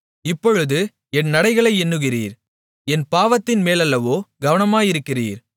இப்பொழுது என் நடைகளை எண்ணுகிறீர் என் பாவத்தின்மேலல்லவோ கவனமாயிருக்கிறீர்